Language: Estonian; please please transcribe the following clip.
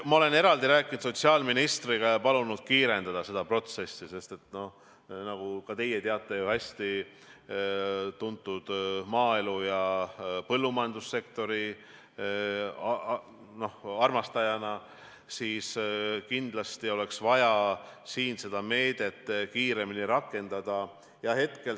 Ma olen rääkinud sotsiaalministriga ja palunud kiirendada seda protsessi, sest nagu ka teie tuntud maaelu- ja põllumajandussektori armastajana ju hästi teate, siis kindlasti oleks vaja seda meedet kiiremini rakendada.